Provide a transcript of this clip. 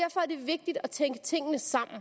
vigtigt at tænke tingene sammen